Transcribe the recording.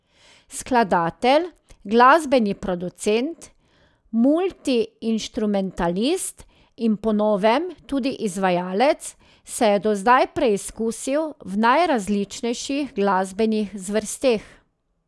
Skladatelj, glasbeni producent, multiinštrumentalist in po novem tudi izvajalec se je do zdaj preizkusil v najrazličnejših glasbenih zvrsteh.